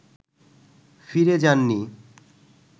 ফিরে যাননি